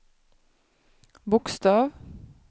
bokstav